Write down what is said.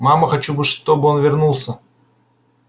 мама хочу бы чтобы он вернулся